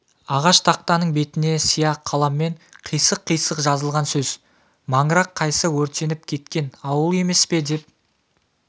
ағаш тақтаның бетіне сия қаламмен қисық-қисық жазылған сөз маңырақ қайсы өртеніп кеткен ауыл емес пе деп